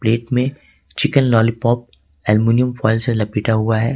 Plate में chicken lollipop aluminium foil से लपेटा हुआ है।